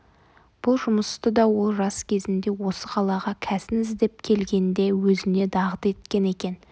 бұл жұмысты да ол жас кезінде осы қалаға кәсін іздеп келгенде өзіне дағды еткен екен